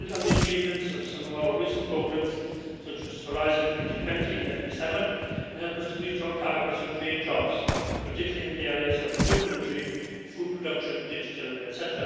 will build on the achievements of some of our recent programmes, such as Horizon 2020 and FP7 and help us to reach our targets and create jobs, particularly in the areas of renewable energy, food production, digital etc.